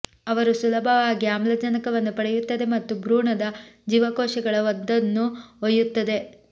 ಅವರು ಸುಲಭವಾಗಿ ಆಮ್ಲಜನಕವನ್ನು ಪಡೆಯುತ್ತದೆ ಮತ್ತು ಭ್ರೂಣದ ಜೀವಕೋಶಗಳ ಅದನ್ನು ಒಯ್ಯುತ್ತದೆ